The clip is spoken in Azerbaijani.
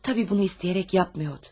Tabii bunu istəyərək yapmıyordu.